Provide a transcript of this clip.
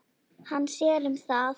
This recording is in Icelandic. Hann sér um það.